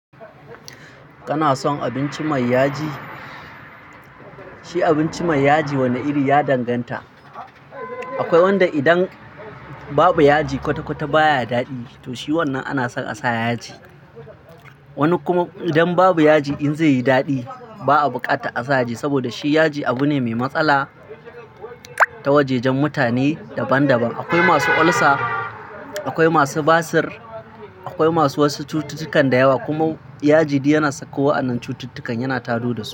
Kana son abinci mai yaji? Shi abinci mai yaji wane iri ya danganta. Akwai wanda idan babu yaji kwata-kwata baya daɗi, to shi wannan ana son a sa yaji. Wani kuma idan babu yaji in zai yi daɗi ba a bukata a sa yaji saboda shi yaji abu ne mai matsala ta wajajen mutane daban-daban. Akwai masu ulcer, akwai masu basir, akwai masu wasu cututtukan da yawa kuma yaji yana saka wa wannan cututtukan, yana tadadu su.